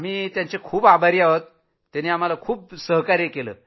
आम्ही त्यांचे आभारी आहोत त्यानी आम्हाला छान सहकार्य केलं